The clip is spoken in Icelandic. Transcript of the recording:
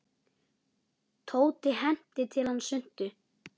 Tóti henti til hans svuntu.